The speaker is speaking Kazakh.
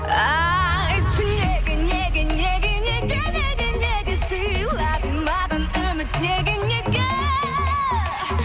айтшы неге неге неге неге неге неге сыйладың маған үміт неге неге